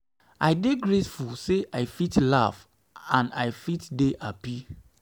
i dey grateful say i fit laugh and i fit dey hapi